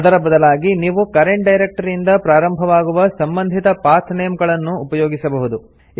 ಅದರ ಬದಲಾಗಿ ನೀವು ಕರೆಂಟ್ ಡೈರೆಕ್ಟರಿ ಇಂದ ಪ್ರಾರಂಭವಾಗುವ ಸಂಬಂಧಿತ ಪಾತ್ ನೇಮ್ ಗಳನ್ನು ಉಪಯೋಗಿಸಬಹುದು